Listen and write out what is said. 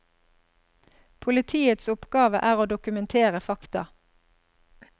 Politiets oppgave er å dokumentere fakta.